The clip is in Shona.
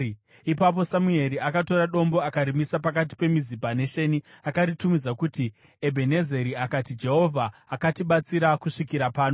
Ipapo Samueri akatora dombo akarimisa pakati peMizipa neSheni. Akaritumidza kuti Ebhenezeri akati, “Jehovha akatibatsira kusvikira pano.”